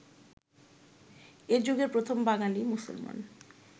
এযুগের প্রথম বাঙালি মুসলমান